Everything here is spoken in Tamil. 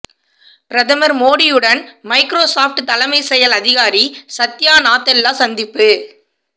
பிரதமர் மோடியுடன் மைக்றோசொப்ட் தலைமைச் செயல் அதிகாரி சத்யா நாதெல்லா சந்திப்பு